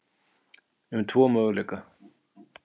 um tvo möguleika.